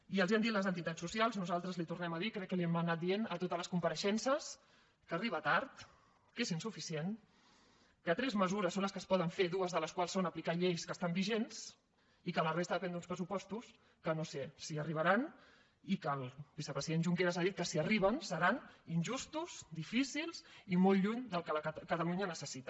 i els ho han dit les entitats socials nosaltres li ho tornem a dir crec que li ho hem anat dient a totes les compareixences que arriba tard que és insuficient que tres mesures són les que es poden fer dues de les quals són aplicar lleis que estan vigents i que la resta depèn d’uns pressupostos que no sé si arribaran i que el vicepresident junqueras ha dit que si arriben seran injustos difícils i molt lluny del que catalunya necessita